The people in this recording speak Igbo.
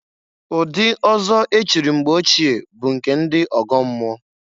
Ụdị ọzọ echiri mgbe ochie bụ nke ndị ọgọmmụọ.